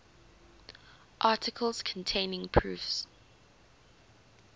articles containing proofs